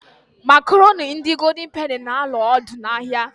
Makoroni ndi goldin peni anoola odu n'ahia